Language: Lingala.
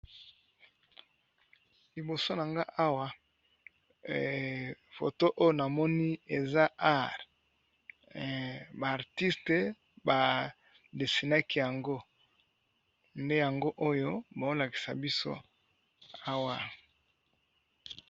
Liboso na nga awa foto oyo na moni eza art. Ba artiste ba desinaki yango nde yango oyo bao lakisa biso awa.